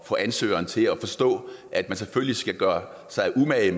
få ansøgeren til at forstå at man selvfølgelig skal gøre sig umage